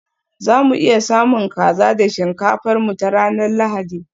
za mu iya samun kaza da shinkafar mu ta ranar Lahadi?